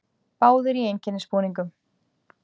Báðir í einkennisbúningum.